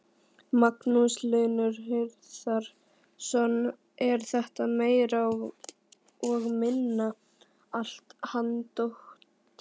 Magnús Hlynur Hreiðarsson: Er þetta meira og minna allt handónýtt?